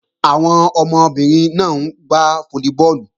Àwọn ọmọbìnrin náà ń gbá fólíbọọ̀lù